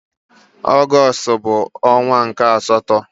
Ọgọstụ bụ ọnwa nke asatọ.